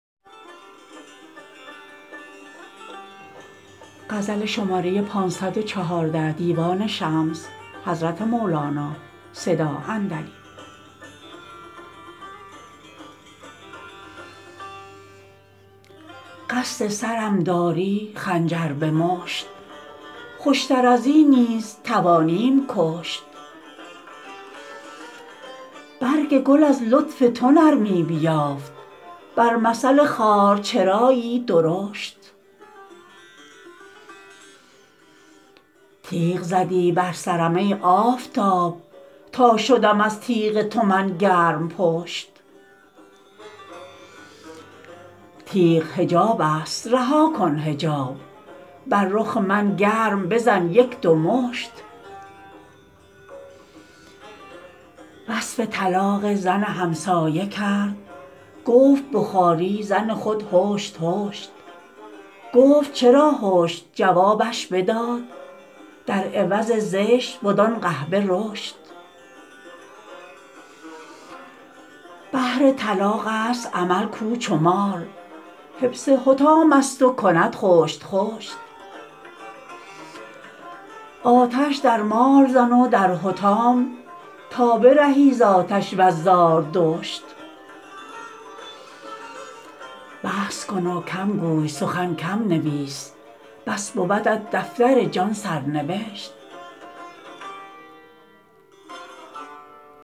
قصد سرم داری خنجر به مشت خوشتر از این نیز توانیم کشت برگ گل از لطف تو نرمی بیافت بر مثل خار چرایی درشت تیغ زدی بر سرم ای آفتاب تا شدم از تیغ تو من گرم پشت تیغ حجابست رها کن حجاب بر رخ من گرم بزن یک دو مشت وصف طلاق زن همسایه کرد گفت به خاری زن خود هشت هشت گفت چرا هشت جوابش بداد در عوض زشت بدان قحبه رشت بهر طلاقست امل کو چو مار حبس حطامست و کند خشت خشت آتش در مال زن و در حطام تا برهی ز آتش وز زاردشت بس کن و کم گوی سخن کم نویس بس بودت دفتر جان سر نوشت